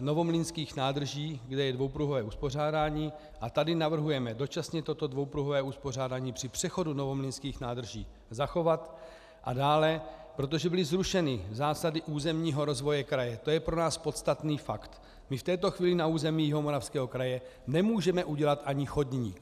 Novomlýnských nádrží, kde je dvoupruhové uspořádání, a tady navrhujeme dočasně toto dvoupruhové uspořádání při přechodu Novomlýnských nádrží zachovat, a dále, protože byly zrušeny zásady územního rozvoje kraje, to je pro nás podstatný fakt, my v této chvíli na území Jihomoravského kraje nemůžeme udělat ani chodník.